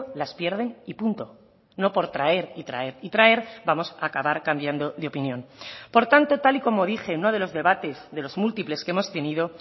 las pierden y punto no por traer y traer y traer vamos a acabar cambiando de opinión por tanto tal y como dije en uno de los debates de los múltiples que hemos tenido